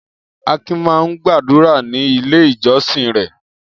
Akin máa ń gbàdúrà ní Ilé-ìjọsìn rẹ̀.